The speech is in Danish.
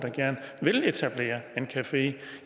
café